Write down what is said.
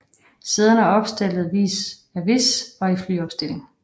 Sæderne er opstillet vis a vis og i flyopstilling